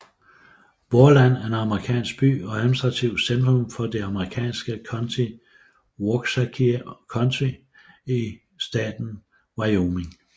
Worland er en amerikansk by og administrativt centrum for det amerikanske county Washakie County i staten Wyoming